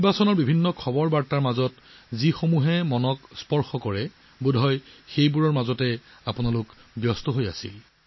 নিৰ্বাচনৰ খবৰৰ মাজতে নিশ্চয় মনটোক চুই যোৱা এইবোৰ খবৰ আপোনালোকে লক্ষ্য কৰিছে